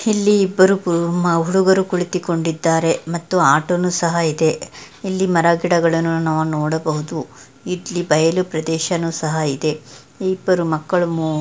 ಇಲ್ಲಿ ಇಬ್ಬರು ಹುಡುಗರು ಕುಳಿತುಕೊಂಡಿದ್ದಾರೆ ಮತ್ತು ಆಟೋನು ಸಹ ಇದೆ. ಇಲ್ಲಿ ಮರ ಗಿಡಗಳನ್ನು ನಾವಿಲ್ಲಿ ನೋಡಬಹುದು ಇಲ್ಲಿ ಬಯಲು ಪ್ರದೇಶನೂ ಇದೆ. ಇಬ್ಬರು ಮಕ್ಕಳು ಮು--